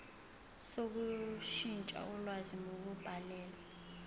sokushintsha ulwazi ngokubhalela